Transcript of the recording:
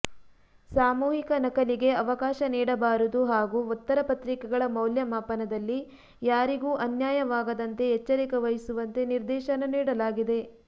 ಸಾಮೂಹಿಕ ನಕಲಿಗೆ ಅವಕಾಶ ನೀಡಬಾರದು ಹಾಗೂ ಉತ್ತರಪತ್ರಿಕೆಗಳ ಮೌಲ್ಯ ಮಾಪನದಲ್ಲಿ ಯಾರಿಗೂ ಅನ್ಯಾಯವಾಗದಂತೆ ಎಚ್ಚರಿಕೆ ವಹಿಸುವಂತೆ ನಿರ್ದೇಶನ ನೀಡಲಾಗಿದೆ